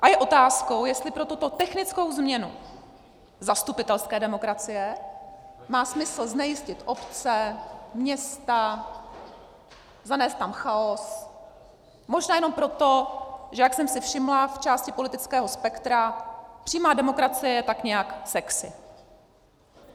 A je otázkou, jestli pro tuto technickou změnu zastupitelské demokracie má smysl znejistit obce, města, zanést tam chaos, možná jenom proto, že - jak jsem si všimla - v části politického spektra přímá demokracie je tak nějak sexy.